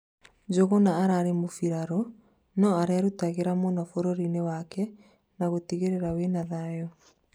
Njuguna ararĩ mũmbirarũ no arerũtagĩra mũno bũrũri-nĩ wake na gũtigĩrĩra wĩna thayũ